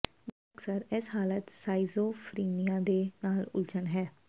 ਬਹੁਤੇ ਅਕਸਰ ਇਸ ਹਾਲਤ ਸ਼ਾਈਜ਼ੋਫਰੀਨੀਆ ਦੇ ਨਾਲ ਉਲਝਣ ਹੈ